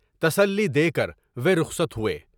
تسلی دے کر وے رخصت ہوئے۔